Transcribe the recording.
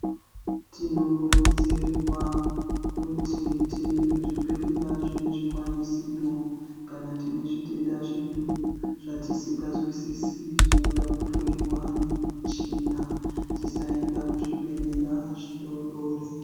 Tinokurudzirwa kuti tiende kuzvibhedhlera zvine zvikwanisiro kana tine zvitenda zvedu zvatisinganzwisisi zvinoda kuhloyiwa nemichina tisaenda kuzvibhedhlera zvidodori.